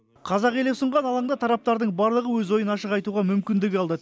қазақ елі ұсынған алаңда тараптардың барлығы өз ойын ашық айтуға мүмкіндік алды